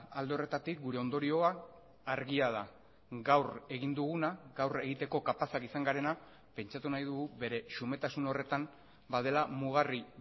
alde horretatik gure ondorioa argia da gaur egin duguna gaur egiteko kapazak izan garena pentsatu nahi dugu bere xumetasun horretan badela mugarri